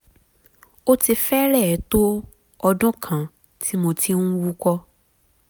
ó ti fẹ́rẹ̀ẹ́ tó ọdún kan tí mo ti ń wúkọ́